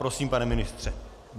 Prosím, pane ministře.